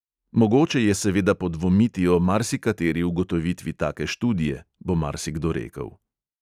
Mogoče je seveda podvomiti o marsikateri ugotovitvi take študije, bo marsikdo rekel.